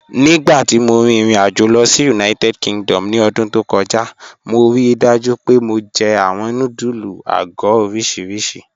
Nígbàtí mó rí irin-àjò lọ sí United Kingdom ní ọdún tó kọja, mó ríì dájú pé mó jẹ̀ awọn nùdúlù àgọ̀ oriṣíríṣì.